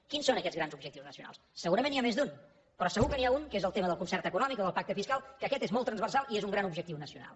quins són aquests grans objectius nacionals segurament n’hi ha més d’un però segur que n’hi ha un que és el tema del concert econòmic o del pacte fiscal que aquest és molt transversal i és un gran objectiu nacional